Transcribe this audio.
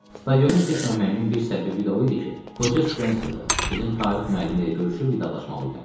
Stadionda getməməyimin bir səbəbi də o idi ki, qoca Spenserdə bizim tarix müəllimi ilə görüşüb vidalaşmalı idim.